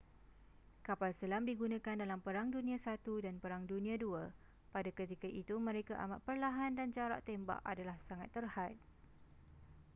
kapal selam digunakan dalam perang dunia i dan perang dunia ii pada ketika itu mereka amat perlahan dan jarak tembak adalah sangat terhad